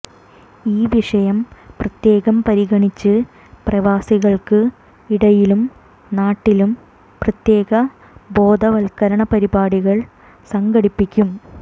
ഈ വിഷയം പ്രത്യേകം പരിഗണിച്ച് പ്രവാസികൾക്ക് ഇടയിലും നാട്ടിലും പ്രത്യേക ബോധവത്കരണ പരിപാടികൾ സംഘടിപ്പിക്കും